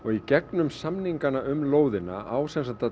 í gegnum samningana um lóðina á sem sagt að